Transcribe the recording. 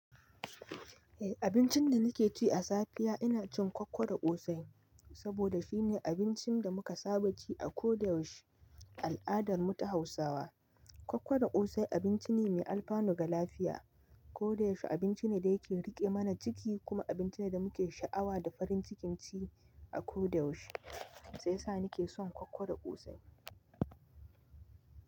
Eh, abincin da nake ci a safiya ina cin koko da ƙosai saboda shine abincin da muka saba ci a ko da yaushe. Al'adar mu ta Hausawa koko da ƙosai abinci ne mai alfano ga lafiya. Ko da yaushe abinci ne da yake riƙe mana ciki kuma abinci ne da muke sha'awa da farin cikin ci a ko da yaushe. Shiyasa nake son koko da ƙosai.